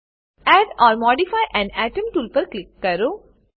add or modify an atom tool પર click કરો